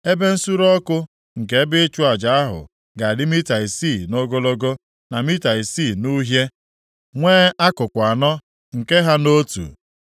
Ebe nsure ọkụ nke ebe ịchụ aja ahụ ga-adị mita isii nʼogologo na mita isii nʼuhie, nwee akụkụ anọ nke ha nʼotu.